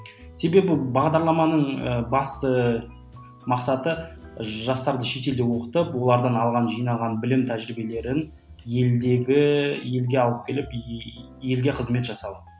себебі бағдарламаның ы басты мақсаты жастарды шетелде оқытып олардың алған жинаған білім тәжірибелерін елдегі елге алып келіп елге қызмет жасау